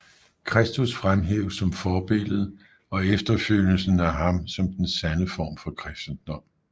Kristus fremhæves som forbillede og efterfølgelsen af ham som den sande form for kristendom